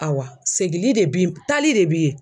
Awa segin de b'i tali de b'i